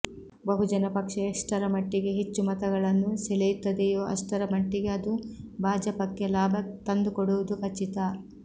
ಬಹುಜನಪಕ್ಷ ಎಷ್ಟರಮಟ್ಟಿಗೆ ಹೆಚ್ಚು ಮತಗಳನ್ನು ಸೆಲೆಯುತ್ತದೆಯೊ ಅಷ್ಟರ ಮಟ್ಟಿಗೆ ಅದು ಬಾಜಪಕ್ಕೆಲಾಭ ತಂದುಕೊಡುವುದು ಖಚಿತ